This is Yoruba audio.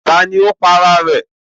Ta ló pa ara ẹ̀?